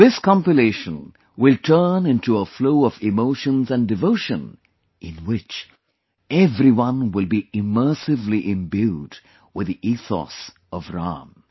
This compilation will turn into a flow of emotions and devotion in which everyone will be immersively imbued with the ethos of Ram